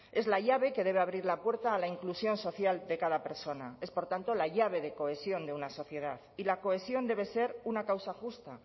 es la llave que debe abrir la puerta a la inclusión social de cada persona es por tanto la llave de cohesión de una sociedad y la cohesión debe ser una causa justa